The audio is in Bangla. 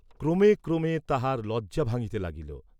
ক্রমে ক্রমে তাহার লজ্জা ভাঙ্গিতে লাগিল।